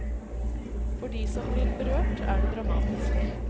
For de som blir berørt er det dramatisk.